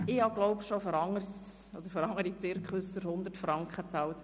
Ich glaube, ich habe schon für andere Zirkusse 100 Franken bezahlt.